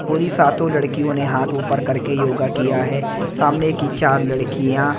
पूरी सातों लड़कियों ने हाथ ऊपर करके योगा किया है सामने की चार लड़कियां--